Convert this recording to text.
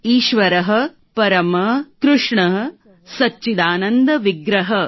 ઈશ્વરઃ પરમઃ કૃષ્ણઃ સચ્ચિદાનન્દ વિગ્રહઃ